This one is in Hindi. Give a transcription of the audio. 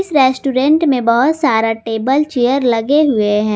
इस रेस्टोरेंट में बहुत सारा टेबल चेयर लगे हुए हैं।